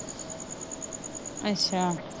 ਅੱਛਾ।